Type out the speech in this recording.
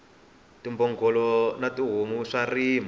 timbhongolo na tihomu swa rima